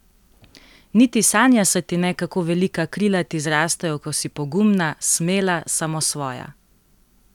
Niti sanja se ti ne, kako velika krila ti zrastejo, ko si pogumna, smela, samosvoja!